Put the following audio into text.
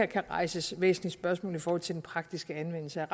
kan rejses væsentlige spørgsmål i forhold til den praktiske anvendelse af